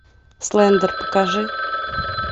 слендер покажи